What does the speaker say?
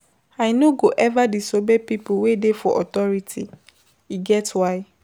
I no go eva disobey pipo wey dey for authority, e get why.